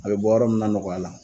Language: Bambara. A be bɔ yɔrɔ min na nɔgɔya la